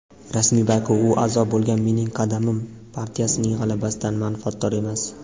rasmiy Baku u a’zo bo‘lgan "Mening qadamim" partiyasining g‘alabasidan manfaatdor emas.